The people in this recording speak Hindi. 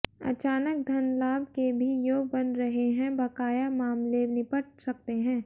अचानक धन लाभ के भी योग बन रहे हैं बकाया मामले निपट सकते हैं